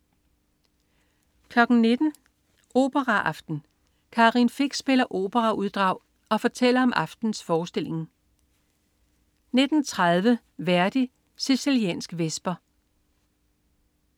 19.00 Operaaften. Karin Fich spiller operauddrag og fortæller om aftenens forestilling 19.30 Verdi: Siciliansk Vesper